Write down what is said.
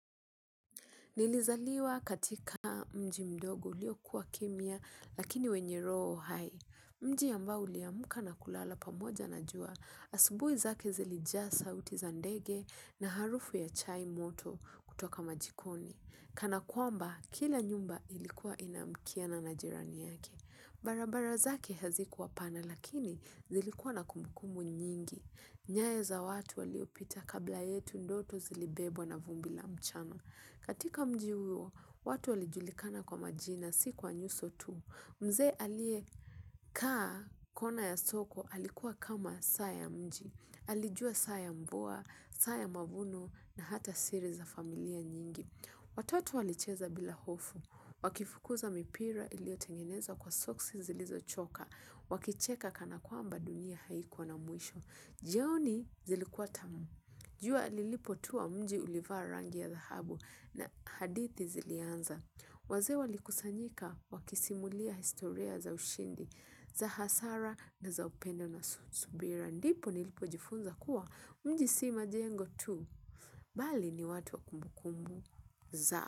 Nilizaliwa katika mji mdogo ulio kuwa kimia, lakini wenye roo hai. Mji yambao uliamuka na kulala pamoja na jua, asubui zake zili jasa uti zandege na harufu ya chai moto kutoka majikoni. Kana kwamba, kila nyumba ilikuwa inamkiana na jirani yake. Barabara zake hazikuwa pana, lakini zili kuwa na kumbukumbu nyingi. Nyayo za watu waliopita kabla yetu ndoto zilibebwa na vumbila mchano. Katika mji huo watu walijulikana kwa majina si kwa nyuso tu. Mze alie kaa kona ya soko alikuwa kama saya mji. Alijua saya mvua, saya mavuno na hata siri za familia nyingi. Watoto walicheza bila hofu. Wakifukuza mipira iliotengeneza kwa soksi zilizo choka. Wakicheka kana kwa mba dunia haikuwa na mwisho. Jioni zilikuwa tamu. Jua lilipo tuwa mji ulivaa rangi ya dahabu na hadithi zilianza. Waze walikusanyika wakisimulia historia za ushindi, za hasara na za upendo na subira. Ndipo nilipo jifunza kuwa mji sima jengo tu, bali ni watu wa kumbukumu za.